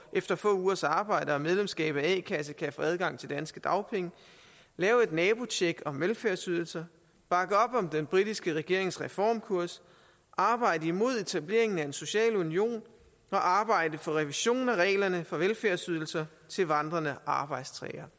efter få ugers arbejde og medlemskab af a kasse kan få adgang til danske dagpenge lave et nabotjek om velfærdsydelser bakke op om den britiske regerings reformkurs arbejde imod etableringen af en social union og arbejde for revision af reglerne for velfærdsydelser til vandrende arbejdstagere